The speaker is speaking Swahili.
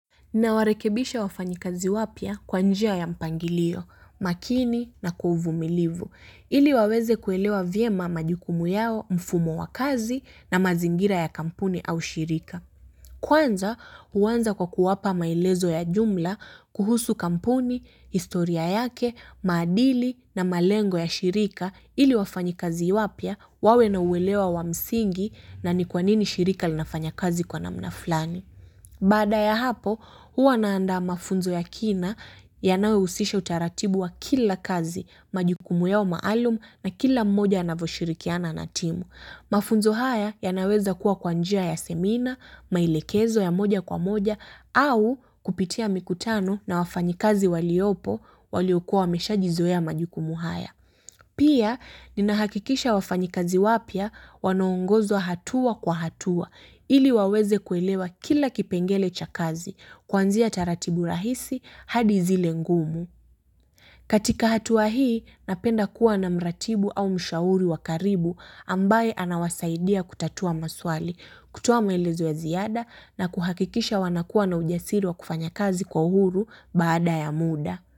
Nawarekebisha wafanyikazi wapya kwa njia ya mpangilio, makini na kwa uvumilivu, ili waweze kuelewa vyema majukumu yao mfumo wa kazi na mazingira ya kampuni au shirika. Kwanza, huanza kwa kuwapa maelezo ya jumla kuhusu kampuni, historia yake, maadili na malengo ya shirika ili wafanyikazi wapya wawe na uelewa wa msingi na ni kwa nini shirika linafanya kazi kwa namna fulani. Baada ya hapo, huwa naandaa mafunzo ya kina yanayohusisha utaratibu wa kila kazi majukumu yao maalumu na kila mmoja anaposhirikiana na timu. Mafunzo haya yanaweza kuwa kwa njia ya semina, maelekezo ya moja kwa moja, au kupitia mikutano na wafanyikazi waliopo waliokuwa wameshajizoea majukumu haya. Pia, ninahakikisha wafanyikazi wapya wanaongozwa hatua kwa hatua, ili waweze kuelewa kila kipengele cha kazi, kuanzia taratibu rahisi hadi zile ngumu. Katika hatua hii, napenda kuwa na mratibu au mshauri wa karibu ambaye anawasaidia kutatua maswali, kutoa maelezo ya ziada na kuhakikisha wanakuwa na ujasiri wa kufanya kazi kwa uhuru baada ya muda.